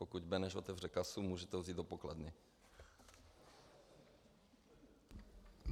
Pokud Beneš otevře kasu, můžete ho vzít do pokladny.